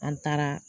An taara